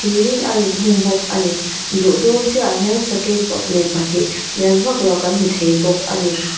thir in a inhung bawk a ni luh dawn ciah ah hian sakei baknei pahnih lian vak lo kan hmu thei bawk a ni.